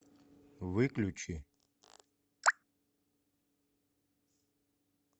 выключи